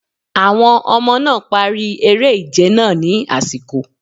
Àwọn ọmọ náà̀ parí eré ìje náà ní àsìkò.